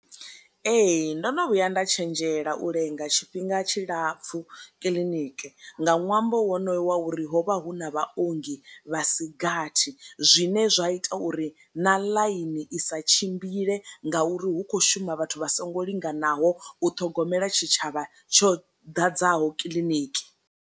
Ee ndono vhuya nda tshenzhela u lenga tshifhinga tshilapfu kiḽiniki nga ṅwambo wonoyo wa uri ho vha hu na vha ongi vha sigathi zwine zwa ita uri na ḽaini i sa tshimbile nga uri hu kho shuma vhathu vha songo linganaho u ṱhogomela tshi tshavha tsho ḓadzaho kiḽiniki.